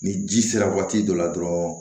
Ni ji sera waati dɔ la dɔrɔn